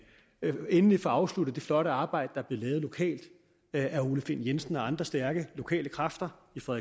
vi endelig får afsluttet det flotte arbejde der lokalt af ole find jensen og andre stærke lokale kræfter fra